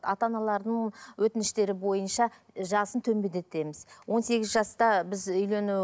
ата аналардың өтініштері бойынша ы жасын төмендетеміз он сегіз жаста біз үйлену